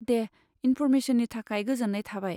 दे, इन्फरमेसननि थाखाय गोजोन्नाय थाबाय।